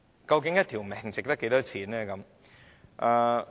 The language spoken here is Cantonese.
究竟一條性命值多少錢呢？